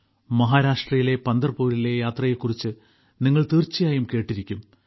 മഹാരാഷ്ട്രയിലെ പന്തർപൂരിലെ യാത്രയെക്കുറിച്ച് നിങ്ങൾ തീർച്ചയായും കേട്ടിരിക്കും